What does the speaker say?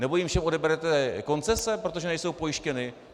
Nebo jim všem odeberete koncese, protože nejsou pojištěny?